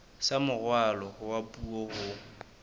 sa moralo wa puo ho